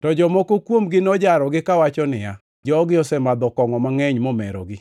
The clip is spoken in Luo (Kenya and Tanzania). To jomoko kuomgi nojarogi kawacho niya, “Jogi osemadho kongʼo mangʼeny momerogi.”